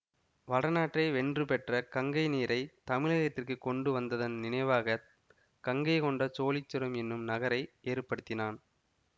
வடநாட்டை வென்று பெற்ற கங்கை நீரை தமிழகத்திற்குக் கொண்டு வந்ததன் நினைவாக கங்கை கொண்ட சோழீச்சுரம் என்னும் நகரை ஏற்படுத்தினான்